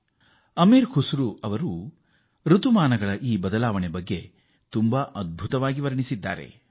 ಕವಿ ಅಮಿರ್ ಕುಸ್ರೂ ಅವರು ಈ ಋತುಮಾನದ ಬದಲಾವಣೆಯನ್ನು ಆರಕ್ಷಕವಾಗಿ ಬಣ್ಣಿಸಿದ್ದಾರೆ